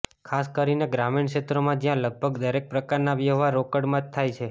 ખાસ કરીને ગ્રામીણ ક્ષેત્રોમાં જ્યાં લગભગ દરેક પ્રકારના વ્યહવાર રોકડમાં જ થાય છે